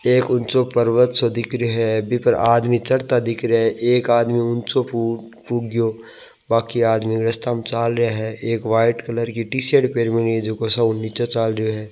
एक ऊंचो पर्वत सो दिख रियाे है बीपर आदमी चढ़ता दिख रहिया है एक आदमी ऊंचो पुग्यो बाकी आदमी रास्ता मे चाल रहिया है एक व्हाइट कलर की टी शर्ट पहरबा मेली है जको सबका नीचे चल रियो है।